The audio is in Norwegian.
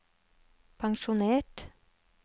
pensjonert